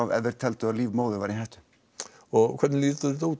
ef þeir teldu líf móðurinnar í hættu og hvernig lítur þetta út